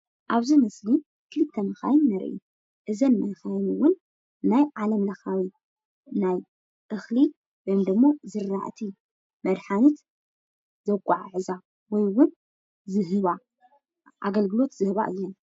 ኣብዚ ምስሊ ክልተ መካይን ንርኢ፡፡ እዘን መካይን እውን ናይ ዓለም ለኸ ናይ እክሊ ወይ ደሞ ዝራእቲ መድሓኒት ዘጋዓዕዛ ወይ እውን ዝህባ ኣገልግሎት ዝህባ እየን፡፡